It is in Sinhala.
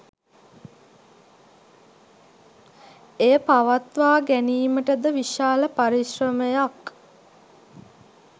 එය පවත්වා ගැනීමට ද විශාල පරිශ්‍රමයක්